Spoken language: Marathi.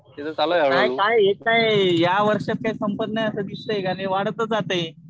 काय काय हे काय या वर्षात काही संपत नाही असं दिसतंय का वाढतच जातंय.